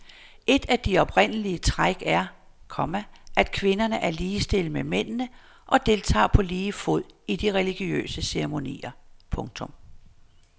Et af de oprindelige træk er, komma at kvinderne er ligestillet med mændene og deltager på lige fod i de religiøse ceremonier. punktum